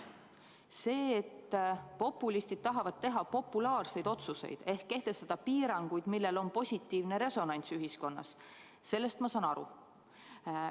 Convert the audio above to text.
Sellest, et populistid tahavad teha populaarseid otsuseid ehk kehtestada piiranguid, millel on positiivne resonants ühiskonnas – sellest ma saan aru.